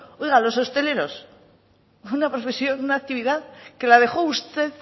oiga los hosteleros una profesión una actividad que la dejó usted